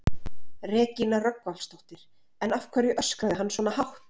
Regína Rögnvaldsdóttir: En af hverju öskraði hann svona hátt?